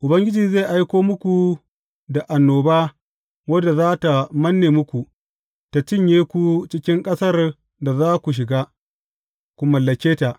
Ubangiji zai aiko muku da annoba wadda za tă manne muku, tă cinye ku cikin ƙasar da za ku shiga, ku mallake ta.